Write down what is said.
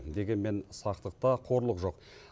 дегенмен сақтықта қорлық жоқ